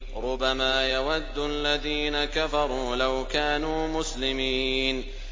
رُّبَمَا يَوَدُّ الَّذِينَ كَفَرُوا لَوْ كَانُوا مُسْلِمِينَ